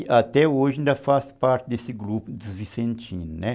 E até hoje ainda faço parte desse grupo dos vicentinos, né